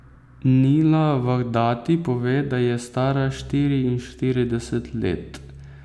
Nila Vahdati pove, da je stara štiriinštirideset let.